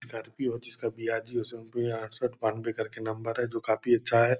Scorpio है जिसका B R. Zero seven अड़सठ बानवे करके नंबर है जो काफी अच्छा है।